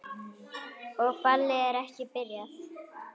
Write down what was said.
Og ballið er ekki byrjað.